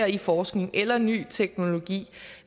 i forskning eller i ny teknologi